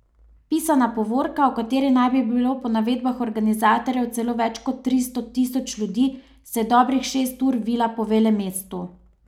Pisana povorka, v kateri naj bi bilo po navedbah organizatorjev celo več kot tristo tisoč ljudi, se je dobrih šest ur vila po velemestu.